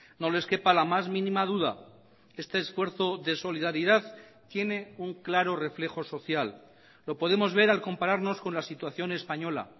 no les quepa la más mínima duda este esfuerzo de solidaridad tiene un claro reflejo social lo podemos ver al compararnos con la situación española